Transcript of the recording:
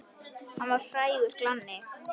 Hann var frægur glanni.